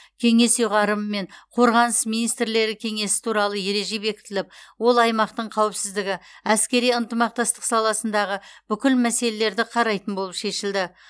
кеңес ұйғарымымен қорғаныс министрлері кеңесі туралы ереже бекітіліп ол аймақтың қауіпсіздігі әскери ынтымақтастық саласындағы бүкіл мәселелерді қарайтын болып шешілді